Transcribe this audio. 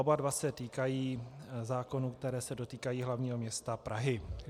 Oba dva se týkají zákonů, které se dotýkají hlavního města Prahy.